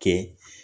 Kɛ